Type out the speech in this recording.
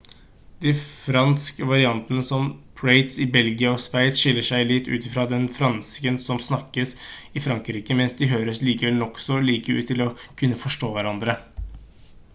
de fransk-variantene som prates i belgia og sveits skiller seg litt ut fra den fransken som snakkes i frankrike men de høres likevel nokså like ut til å kunne forstå hverandre